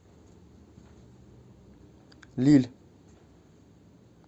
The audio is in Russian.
лилль